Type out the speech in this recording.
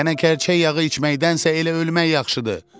Qənə kərçək yağı içməkdənsə elə ölmək yaxşıdır.